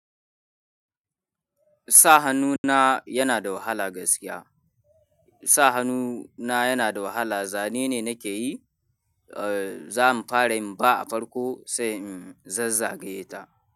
Sa hannu na yana da wahala gaskiya. Sa hannu na yana da wahala. Zane ne nake yi, eh, zamu fara yin B a farko sai in zazzage ta.